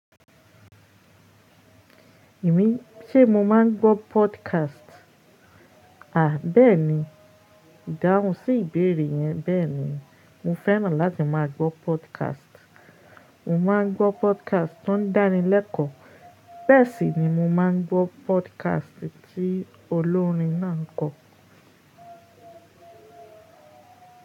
Èmi, ṣe mo máa ń gbọ́ podcast? À beeni, ìdáhùn sí ìbéèrè yẹn, beeni. Mo fẹ́ràn láti má a gbọ́ podcast. Mo máa ń gbọ́ podcast tó ń dáni lẹ́kọ̀ọ́. Bẹ́ẹ̀ sì ni mo máa ń gbọ́ podcast tí olórin náà ń kọ.